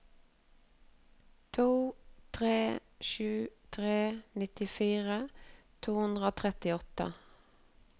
to tre sju tre nittifire to hundre og trettiåtte